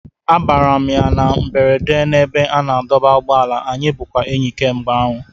Abara m ya na mberede n'ebe a na-adọba ụgbọala, anyị bụkwa enyi kemgbe ahụ